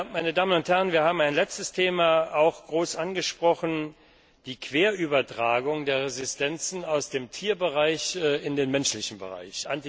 Meine Damen und Herren, wir haben auch ein letztes Thema groß angesprochen Die Querübertragung der Resistenzen aus dem Tierbereich in den menschlichen Bereich.